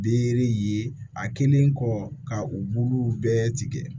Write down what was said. Bere ye a kelen kɔ ka u buluw bɛɛ tigɛ